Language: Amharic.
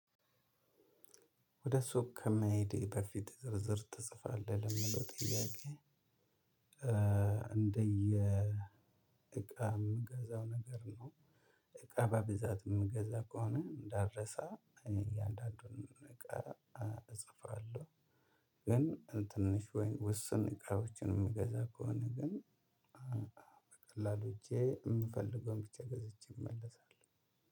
ወደ ሱቅ ከመሄድ በፊት ዝርዝር ትጽፋለህ ለሚለው ጥያቄ? እንደየ እቃ የምገዛው ነገር ነው። እቃ በብዛት የምገዛ ከሆነ እንዳረሳ እያንዳንዱን እቃ እጽፋለሁ። ግን ትንሽ ወይ ውስን እቃዎችን የምገዛ ከሆነ ግን በቀላሉ ሄጄ የምፈልገውን ብቻ ገዝቼ እመለሳለሁ።